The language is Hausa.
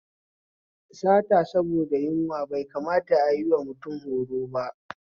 Sata saboda da yunwa bai kamata ayiwa mutum horoba